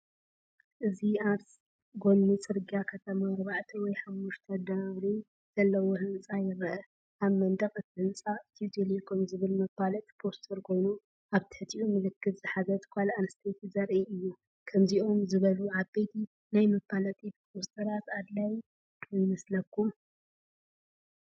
እዚ ኣብ ጎኒ ጽርግያ ከተማ ኣርባዕተ ወይ ሓሙሽተ ደርቢ ዘለዎ ህንፃ ይርአ። ኣብ መንደቕ እቲ ህንፃ “ኢትዮ ቴሌኮም”ዝብል መፋለጢ ፖስተር ኮይኑ፡ ኣብ ትሕቲኡ ምልክት ዝሓዘት ጓል ኣንስተይቲ ዘርኢ እዩ። ከምዚኦም ዝበሉ ዓበይቲ ናይ መፋለጢ ፖስተራት ኣድላዪ ይመስለኩም?